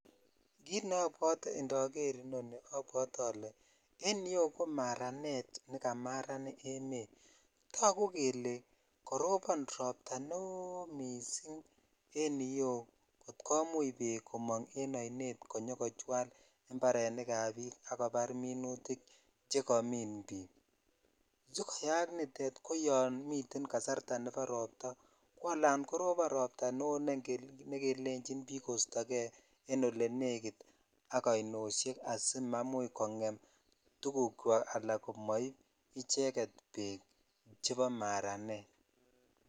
Kit neobwote endoker ni obwotee ole en yu ko maranet nekamaran emet tagus kele karobon robta neo missing en yu kotkomuch bek komung en oinet konyo kochwal imparrenik ab bik akobar minutik chekomin bik sikoyak nitet ko yan miten kasarta nebo robtaa ko ala korobo robta nekelechin bik kosto en olenekit ak ainoshek asimaimuch kongemtuguk chwak ala ala komoib icheget bek chebo maranet.